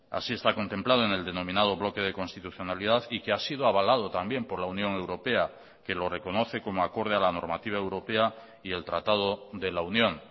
así está contemplado en el denominado bloque de constitucionalidad y que ha sido avalado también por la unión europea que lo reconoce como acorde a la normativa europea y el tratado de la unión